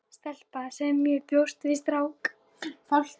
Stelpa- og ég sem bjóst við strák.